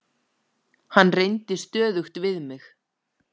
Hann reyndi stöðugt við mig.